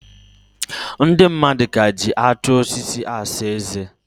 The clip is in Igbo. Ndị madụ ka ji atụ osisi asa eze.